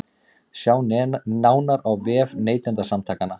Sjá nánar á vef Neytendasamtakanna